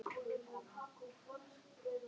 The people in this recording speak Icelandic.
Ætli Halla hafi verið skotin í einhverjum?